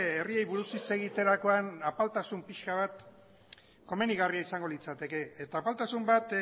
herriei buruz hitz egiterakoan apaltasun pixka bat komenigarria izango litzateke eta apaltasun bat